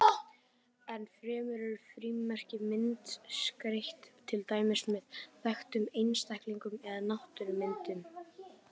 Enn fremur eru frímerki myndskreytt, til dæmis með þekktum einstaklingum eða náttúrumyndum.